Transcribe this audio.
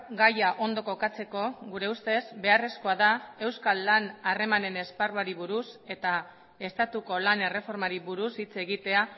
gaia ondo kokatzeko gure ustez beharrezkoa da euskal lan harremanen esparruari buruz eta estatuko lan erreformari buruz hitz egitea